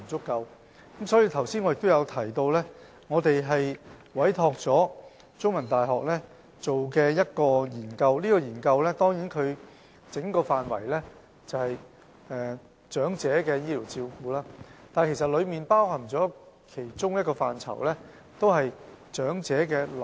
因此，我剛才亦提到我們已委託香港中文大學進行一項研究，研究範圍是關乎長者的醫療照顧，而其中包括長者臨終照顧這個範疇。